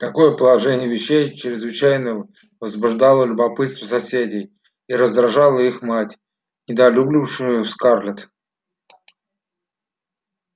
такое положение вещей чрезвычайно возбуждало любопытство соседей и раздражало их мать недолюбливавшую скарлетт